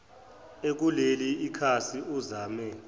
ekuleli khasi uzame